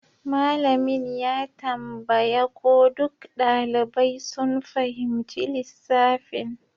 Malamin ya tambaya ko duk ɗalibai sun fahimci lissafin